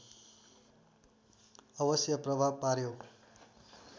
अवश्य प्रभाव पार्‍यो